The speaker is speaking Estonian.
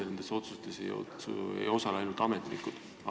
Ja nendes otsustes ei osale ainult ametnikud.